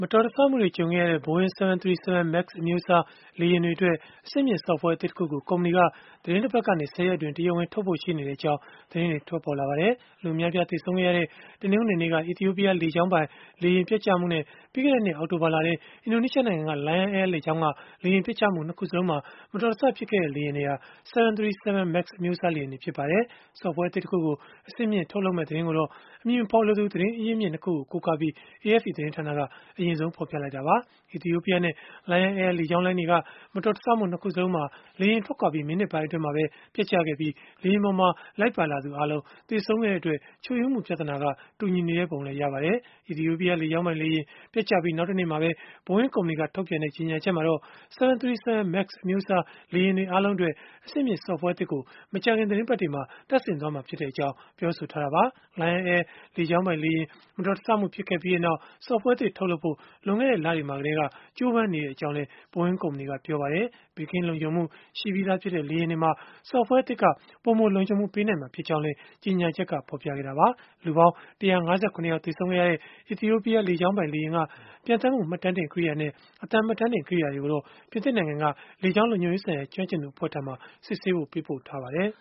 တော်တဆမှုတွေ ကြုံခဲ့ရတဲ့ Boeing 737 MAX အမျိုးအစား လေယာဉ်တွေအတွက် အဆင့်မြင့် software အသစ်တခုကို ကုမ္ပဏီက သီတင်းတပတ်ကနေ ၁၀ ရက်အတွင်း တရားဝင်ထုတ်ဖို့ ရှိနေကြောင်း သတင်းတွေ ထွက်ပေါ်လာပါတယ်။ လူအများအပြား သေဆုံးခဲ့ရတဲ့ တနင်္ဂနွေနေ့က အီသီယိုပီးယား လေကြောင်းပိုင် လေယာဉ်ပျက်ကျမှုနဲ့ ပြီးခဲ့တဲ့နှစ် အောက်တိုဘာလထဲ အင်ဒိုနီးရှားနိုင်ငံက Lion Air လေကြောင်းက လေယာဉ်ပျက်ကျမှု ၂ ခုစလုံးမှာ မတော်တဆဖြစ်ခဲ့တဲ့ လေယာဉ်တွေဟာ 737 MAX အမျိုးအစား လေယာဉ်တွေ ဖြစ်ကြပါတယ်။ software အသစ်တခုကို အဆင့်မြှင့်ထုတ်လုပ်မယ့် သတင်းကိုတော့ အမည်မဖော်လိုသူ သတင်းအရင်းအမြစ် ၂ ခုကို ကိုးကားပြီး AFP သတင်းဌာနက အရင်ဆုံး ဖော်ပြခဲ့တာပါ။ အီသီယိုပီးယားနဲ့ Lion Air လေကြောင်းလိုင်းတွေက မတော်တဆမှု ၂ ခုစလုံးမှာ လေယာဉ်ထွက်ခွာပြီး မိနစ်ပိုင်းအတွင်းမှာပဲ ပျက်ကျခဲ့ပြီး လေယာဉ်ပေါ်မှာ လိုက်ပါလာသူအားလုံး သေဆုံးခဲ့တဲ့အတွက် ချို့ယွင်းမှု ပြဿနာက တူညီနေပုံလည်း ရပါတယ်။ အီသီယိုပီးယား လေကြောင်းပိုင်လေယာဉ် ပျက်ကျခဲ့ပြီး နောက်တနေ့မှာပဲ Boeing ကုမ္ပဏီက ထုတ်ပြန်ခဲ့တဲ့ ကြေညာချက်မှာတော့ 737 MAX အမျိုးအစား လေယာဉ်တွေ အားလုံးအတွက် အဆင့်မြင့် software သစ်ကို မကြာခင် သီတင်းပတ်တွေမှာ တပ်ဆင်သွားမှာဖြစ်ကြောင်း ပြောဆိုထားတာပါ။ Lion Air လေကြောင်းပိုင်လေယာဉ် မတော်တဆမှု ဖြစ်ခဲ့ပြီးနောက် software သစ် ထုတ်လုပ်ဖို့ လွန်ခဲ့တဲ့ လတွေမှာကတည်းက ကြိုးပမ်းနေကြောင်းလည်း Boeing ကုမ္ပဏီက ပြောပါတယ်။ ဘေးကင်းလုံခြုံမှု ရှိပြီးသားဖြစ်တဲ့ လေယာဉ်တွေမှာ software အသစ်က ပိုမိုလုံခြုံမှုပေးနိုင်မှာ ဖြစ်ကြောင်းလည်း ကြေညာချက်က ဖော်ပြခဲ့တာပါ။ လူပေါင်း ၁၅၇ ယောက် သေဆုံးခဲ့တဲ့ အီသီယိုပီးယား လေကြောင်းပိုင်လေယာဉ်က ပျံသန်းမှု မှတ်တမ်းတင် ကိရိယာနဲ့ အသံမှတ်တမ်းတင် ကိရိယာတွေကိုတော့ ပြင်သစ်နိုင်ငံက လေကြောင်း လုံခြုံရေးဆိုင်ရာ ကျွမ်းကျင်သူ အဖွဲ့ထံမှာ စစ်ဆေးဖို့ ပေးပို့ထားပါတယ်